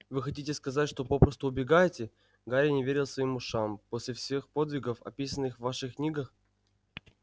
вы хотите сказать что попросту убегаете гарри не верил своим ушам после всех подвигов описанных в ваших книгах